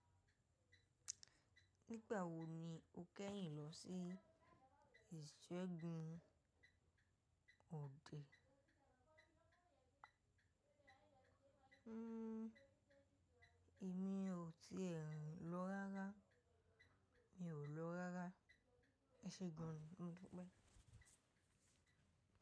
Nígbà wo ni o kẹ́yìn lọ sí ìṣẹ́gun òde? Hmm, èmi ò tíì rìn lọ rárá. Mi ò lọ rárá. Ẹ ṣe gan ní, mo dúpẹ́.